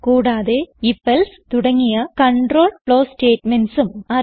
കൂടാതെ ifഎൽസെ തുടങ്ങിയ കണ്ട്രോൾ ഫ്ലോ statementsഉം